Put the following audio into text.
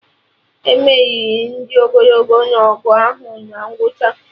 E meriri ndị ogologo na-ọgụ ahụ na ngwụcha